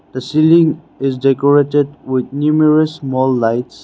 the ceiling is decorated with numerous small lights.